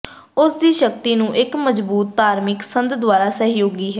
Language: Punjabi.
ਉਸ ਦੀ ਸ਼ਕਤੀ ਨੂੰ ਇਕ ਮਜ਼ਬੂਤ ਧਾਰਮਿਕ ਸੰਦ ਦੁਆਰਾ ਸਹਿਯੋਗੀ ਹੈ